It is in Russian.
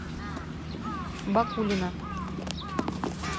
бакулина